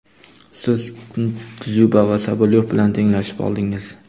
Siz Dzyuba va Sobolyov bilan tenglashib oldingiz.